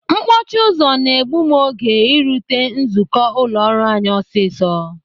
Mkpọchi ụzọ na-egbu m oge irute nzukọ ụlọ ọrụ anyị ọsịsọ.